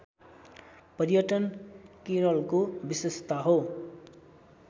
पर्यटन केरलको विशेषता हो